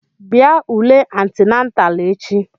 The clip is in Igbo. Bịa ule antinatalụ echi!